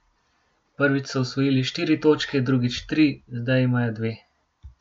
Prvič so osvojili štiri točke, drugič tri, zdaj imajo dve.